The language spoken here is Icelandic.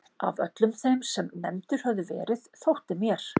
Af öllum þeim sem nefndir höfðu verið þótti mér